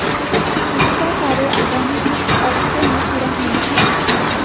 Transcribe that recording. इसका कार्य आगामी कुछ अरसे में पूरा होने की सूचना है